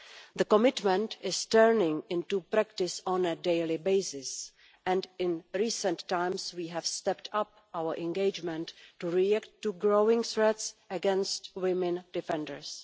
The commitment is turning into practice on a daily basis and, in recent times, we have stepped up our engagement in order to react to growing threats against women defenders.